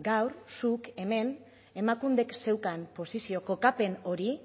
gaur zuk hemen emakundek zeukan posizio kokapen hori